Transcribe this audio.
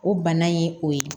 O bana ye o ye